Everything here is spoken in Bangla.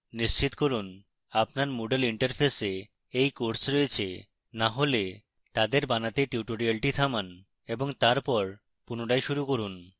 নিশ্চিত করুন আপনার moodle interface এই courses রয়েছে